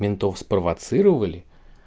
полицейских спровоцировали